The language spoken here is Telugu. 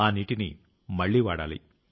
ఆ నీటిని మళ్లీ వాడాలి